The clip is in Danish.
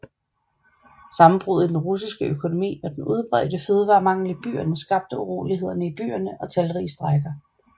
Sammenbruddet i den russiske økonomi og den udbredte fødevaremangel i byerne skabte uroligheder i byerne og talrige strejker